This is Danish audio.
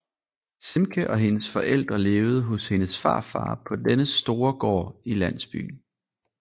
Simke og hendes forældre levede hos hendes farfar på dennes store gård i landsbyen